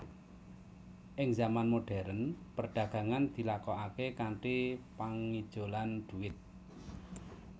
Ing zaman modhèrn perdagangan dilakokaké kanthi pangijolan dhuwit